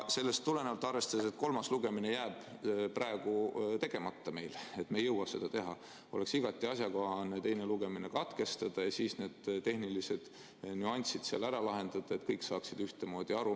Sellest tulenevalt, arvestades, et kolmas lugemine jääb meil praegu tegemata, me ei jõua seda teha, oleks igati asjakohane teine lugemine katkestada ja siis need tehnilised nüansid seal ära lahendada, et kõik saaksid ühtemoodi aru.